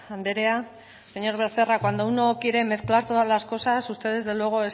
andrea señor becerra cuando uno quiere mezclar todas las cosas usted desde luego